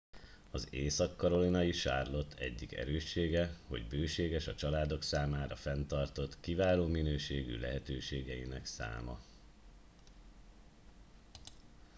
az észak karolinai charlotte egyik erőssége hogy bőséges a családok számára fenntartott kiváló minőségű lehetőségeinek száma